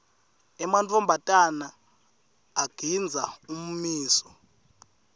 emantfombatana agindza ummiso